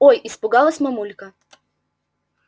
ой испугалась мамулька